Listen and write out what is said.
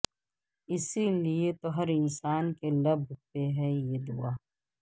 اسی لئے تو ہر انساں کے لب پہ ہے یہ دعا